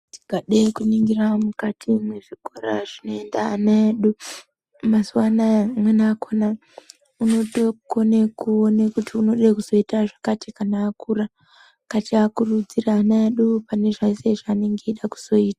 Tikade kuningira mukati mwezvikora zvinoenda ana edu, mazuwaanaya amweni akona unotokone kuwone kuti unode kuzoyita zvakati kana akura, ngatiakurudzire ana edu pane zvese zvaanenge eyida kuzoyita.